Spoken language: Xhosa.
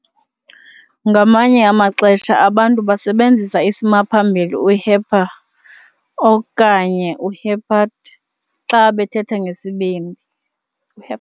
Ngamanye amaxesha abantu basebenzisa isimaphambili u"hepar- okanye u-hepat-" xa bethetha ngesibindi hep.